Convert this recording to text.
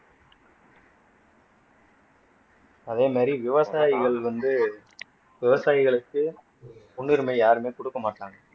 அதே மாதிரி விவசாயிகள் வந்து விவசாயிகளுக்கு முன்னுரிமை யாருமே கொடுக்க மாட்டாங்க